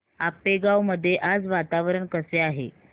आपेगाव मध्ये आज वातावरण कसे आहे